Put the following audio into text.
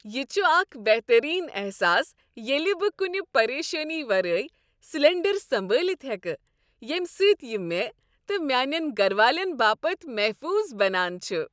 یہ چھ اکھ بہترین احساس ییٚلہ بہٕ كنہ پریشٲنی ورٲے سلنڈر سنبٲلِتھ ہٮ۪کہٕ، ییٚمہ سۭتۍ یہِ مےٚ تہٕ میانٮ۪ن گر والین باپتھ محفوظ بنان چھ۔